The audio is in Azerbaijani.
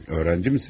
Tələbəsiniz?